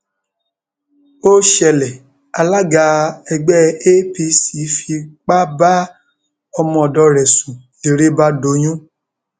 ó ṣẹlẹ àlàgà ẹgbẹ apc fipá bá ọmọọdọ rẹ sùn lérè bá doyún